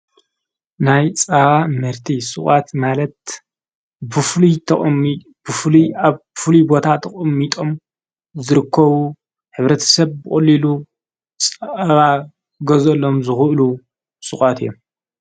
ናይ ፃባ ምህርቲ ሱቓት ማለት ብፉሉይ ኣብ ብፍሉ ቦታ ተቐሚጦም ዝርከቡ ሐብረተ ሰብ ብቐሊሉ ፀባ ኽገዘሎም ዝኽእሉ ሱቓት እዮም፡፡